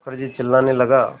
मुखर्जी चिल्लाने लगा